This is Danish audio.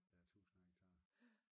Der er tusinder af hektar